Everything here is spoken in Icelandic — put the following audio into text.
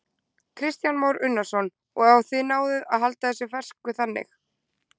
Kristján Már Unnarsson: Og þið náið að halda þessu fersku þannig?